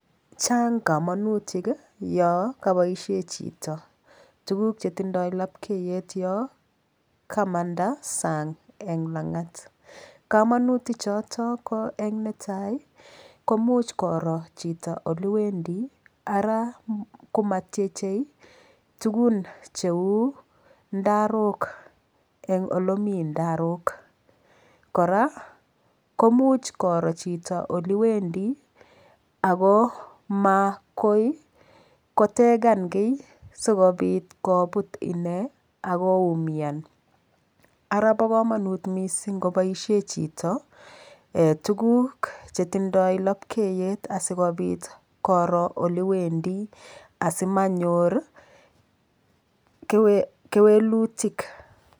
Chang' kamanutik yo kaboishe chito tuguk chetindoi lapkeiyet yo kamanda sang' eng' lang'at kamanutichoto ko eng' netai komuch koro chito ole wendi ara komatchechei tukun cheu ndarok eng' ole Mii ndarok kora ko muuch koro chito olewendi oko makoi kotegan ki sikobit koput ine akoumian ara bo kamanut mising' koboishe chito tukuk chetindoi lapkeiyet asikobit koro ole wendi asimanyor kewelutik